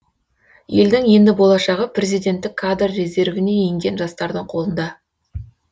елдің ендігі болашағы президенттік кадр резервіне енген жастардың қолында